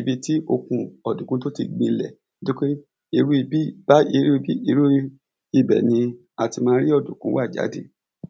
ibi tí okun ọ̀dùnkùn tó ti gbilẹ̀ bájí ibẹ̀ ni a ti ma rí ọ̀dùnkùn wà jáde